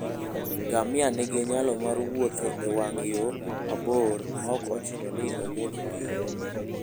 Ngamia nigi nyalo mar wuotho e wang' yo mabor maok ochuno ni omodh pi.